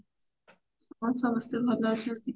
ହଁ ସମସ୍ତେ ଭଲ ଅଛନ୍ତି